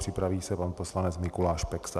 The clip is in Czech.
Připraví se pan poslanec Mikuláš Peksa.